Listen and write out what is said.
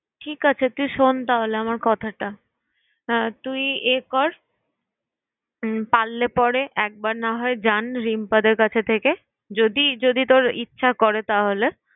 ঠিক আছে তুই শোন তাহলে আমার কথাটা, হ্যাঁ তুই এ কর উম পারলে পরে একবার না হয় জান রিম্পাদের কাছে থেকে, যদি তোর ইচ্ছা করে তাহলে।